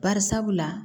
Bari sabula